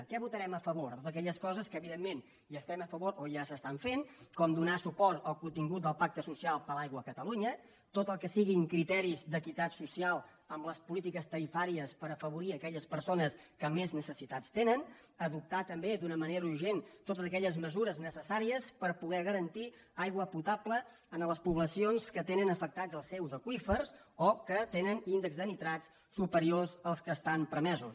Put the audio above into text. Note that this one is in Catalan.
què votarem a favor totes aquelles coses que evidentment hi estem a favor o ja s’estan fent com donar suport al contingut del pacte social per l’aigua a catalunya tot el que siguin criteris d’equitat social amb les polítiques tarifàries per afavorir aquelles persones que més necessitats tenen adoptar també d’una manera urgent totes aquelles mesures necessàries per poder garantir aigua potable en les poblacions que tenen afectats els seus aqüífers o que tenen índexs de nitrats superiors als que estan permesos